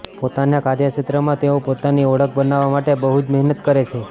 પોતાના કાર્યક્ષેત્રમાં તેઓ પોતાની ઓળખ બનાવવા માટે બહુ જ મહેનત કરે છે